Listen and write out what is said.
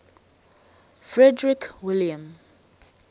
frederick william